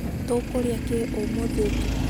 tũkũrĩa kĩĩ ũmũthĩ ũtũkũ?